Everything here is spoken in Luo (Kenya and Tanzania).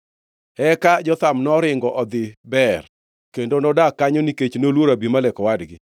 Eka Jotham noringo odhi Beer, kendo nodak kanyo nikech noluoro Abimelek owadgi.